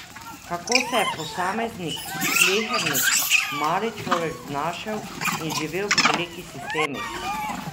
Kako se je posameznik, slehernik, mali človek znašel in živel v velikih sistemih?